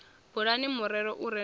bulani murero u re na